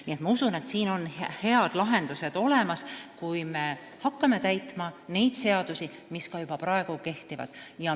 Nii et ma usun, et siin on head lahendused olemas, kui me hakkame täitma neid seadusi, mis juba praegu kehtivad.